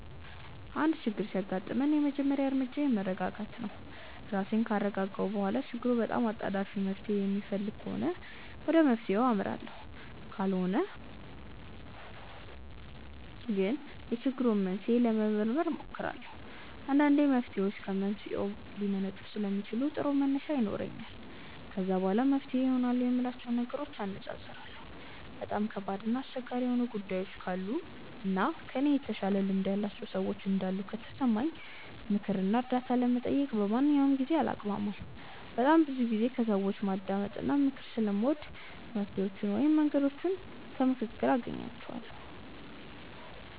አንድ ችግር ሲያጋጥመኝ የመጀመሪያ እርምጃዬ መረጋጋት ነው። ራሴን ካረጋጋሁ በኋላ ችግሩ በጣም አጣዳፊ መፍትሔ የሚፈልግ ከሆነ ወደ መፍትሔው አመራለሁ ካልሆነ ግን የችግሩን መንስኤ ለመመርመር እሞክራለሁ። አንዳንድ መፍትሔዎች ከመንስኤው ሊመነጩ ስለሚችሉ ጥሩ መነሻ ይሆነኛል። ከዛ በኋላ መፍትሄ ይሆናሉ የምላቸውን ነገሮች አነፃፅራለሁ። በጣም ከባድ እና አስቸጋሪ የሆኑ ጉዳዮች ካሉ እና ከእኔ የተሻለ ልምድ ያላቸው ሰዎች እንዳሉ ከተሰማኝ ምክር እና እርዳታ ለመጠየቅ በማንኛውም ጊዜ አላቅማማም። በጣም ብዙ ጊዜ ከሰዎች ማዳመጥ እና ምክር ስለምወድ መፍትሔዎቹን ወይም መንገዶቹን ከምክክር ውስጥ አገኛቸዋለሁ።